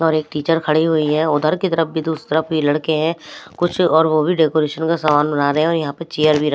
और एक टीचर खड़ी हुई हैं उधर की तरफ भी तो उस तरफ भी लड़के हैं कुछ और वो भी डेकोरेशन का सामान बना रहे हैं और यहां पे चेयर भी--